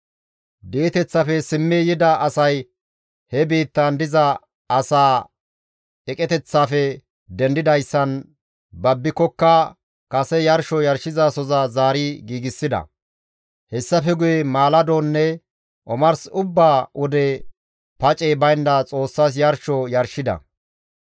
Di7eteththafe simmi yida asay he biittan diza asaa eqeteththafe dendidayssan babbikokka kase yarsho yarshizasoza zaari giigsida; hessafe guye maaladonne omars ubba wode pacey baynda Xoossas yarsho yarshida.